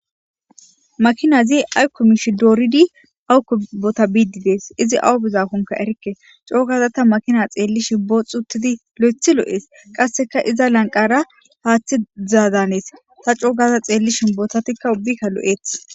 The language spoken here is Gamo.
makinazi ay komishi dooridi awu kubota biididees izi awu bizakonka erikke coogaza ta makina xeellishi booxxutidi lo7ethi lo7ees qasseka iza lanqara haaththi zaadanees ta coogaza xeellishi botatikka ubbikka lo7eeth